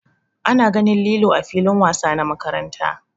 Ana ganin lilo ã filin wasa na makaranta.